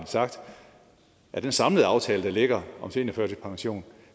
sagt at den samlede aftale der ligger om seniorførtidspension